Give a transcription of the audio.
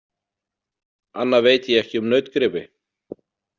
Annað veit ég ekki um nautgripi.